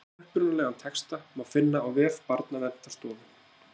Upprunalegan texta má finna á vef Barnaverndarstofu.